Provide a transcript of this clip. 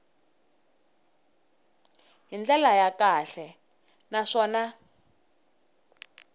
hi ndlela ya kahle naswona